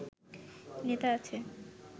নেতা আছে